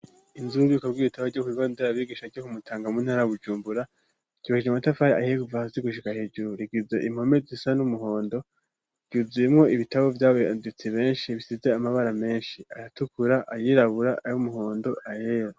Inzu ry'ububiko bw'ibitabo byo kubibondera bigisha co kumutanga muntara bujumbura yibajije amatafari ayheguva hazi gushiga ahejuru rigiza impome zisa n'umuhondo byuzuyemo ibitabo by'abayanditse benshi bisize amabara menshi aratukura ayirabura ari umuhondo ayera.